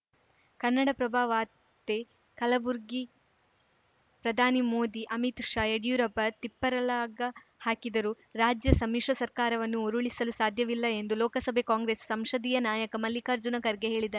ಕನ್ನಡಪ್ರಭ ವಾರ್ತೆ ಕಲಬುರಗಿ ಪ್ರಧಾನಿ ಮೋದಿ ಅಮಿತ್‌ ಶ್‌ ಯಡಿಯೂರಪ್ಪ ತಿಪ್ಪರಲಾಗ ಹಾಕಿದರೂ ರಾಜ್ಯ ಸಮ್ಮಿಶ್ರ ಸರ್ಕಾರವನ್ನು ಉರುಳಿಸಲು ಸಾಧ್ಯವಿಲ್ಲ ಎಂದು ಲೋಕಸಭೆ ಕಾಂಗ್ರೆಸ್‌ ಸಂಶ ದೀಯ ನಾಯಕ ಮಲ್ಲಿಕಾರ್ಜುನ ಖರ್ಗೆ ಹೇಳಿದ್ದಾ